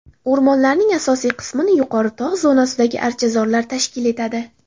O‘rmonlarning asosiy qismini yuqori tog‘ zonasidagi archazorlar tashkil etadi.